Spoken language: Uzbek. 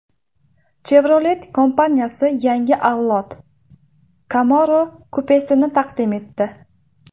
Chevrolet kompaniyasi yangi avlod Camaro kupesini taqdim etdi.